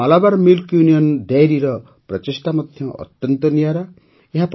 କେରଳର Malabar milk union ଡାଇରୀର ପ୍ରଚେଷ୍ଟା ମଧ୍ୟ ଅତ୍ୟନ୍ତ ନିଆରା